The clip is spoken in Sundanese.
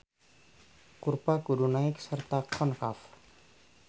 Kurva kudu naek sarta konkav.